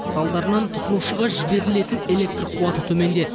салдарынан тұтынушыға жіберлітен электр қуаты төмендеді